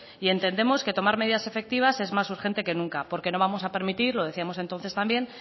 y entendemos que tomar medidas efectivas es más urgente que nunca porque no vamos a permitir lo decíamos entonces también